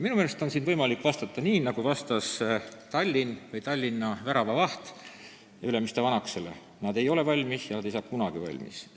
Minu meelest on võimalik vastata nii, nagu vastas Tallinna väravavaht Ülemiste vanakesele: nad ei ole valmis ja nad ei saa kunagi valmis.